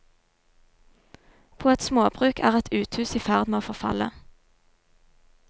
På et småbruk er et uthus i ferd med å forfalle.